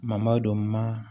Mamadu don ma